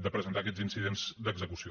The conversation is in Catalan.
de presentar aquests incidents d’execució